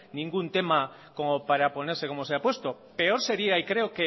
ningún tema como para ponerse como se ha puesto peor seria y creo